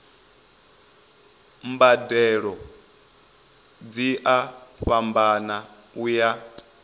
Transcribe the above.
mbadelo dzi a fhambana uya